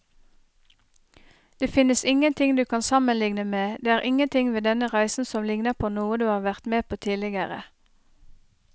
Det finnes ingenting du kan sammenligne med, det er ingenting ved denne reisen som ligner på noe du har vært med på tidligere.